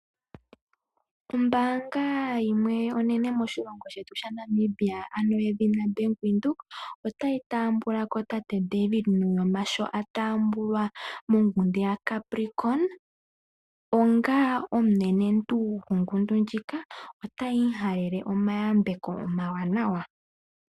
Ombaanga yimwe onene moshilongo shetu shaNamibia ano yedhina Bank Windhoek, otayi taambulako tate David Nuyoma sho atambulwa mongundu yacapricon, onga omunenentu gwongundu ndjika otayi mu halele omayambeko omawanawa.